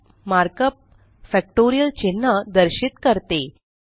fact markup factorial चिन्ह दर्शित करते